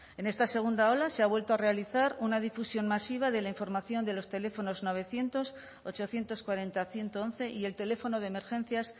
en esta segunda ola se ha vuelto a realizar una difusión masiva de la información de los teléfonos novecientos ochocientos cuarenta ciento once y el teléfono de emergencias